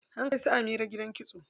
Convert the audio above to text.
An kai su Amira gidan kitso.